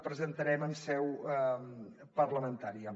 presentarem en seu parlamentària